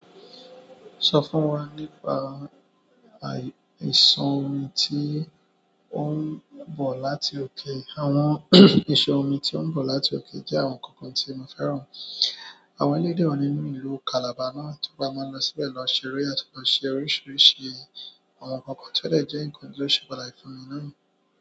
Sọ fún wa nípa, ìsàn omi tí ó ń bọ̀ láti òkè. Àwọn isàn omi tí ó ń bọ̀ láti òkè jẹ́ àwọn nǹkan kan tí mo fẹ́ràn. Àwọn eleyii de wa nínú ìlú Calabar náà tó bá máa lọ síbẹ̀ lọ ṣeré àti lọ ṣe oríṣiríṣi àwọn nǹkan kan ti o de jẹ́ nǹkan ti ó ṣe pàtàkì náà.